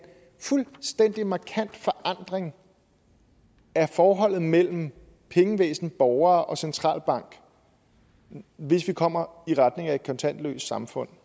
fuldstændig markant forandring af forholdet mellem pengevæsen borgere og centralbank hvis vi kommer i retning af et kontantløst samfund